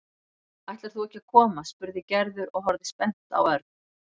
Ætlar þú ekki að koma? spurði Gerður og horfði spennt á Örn.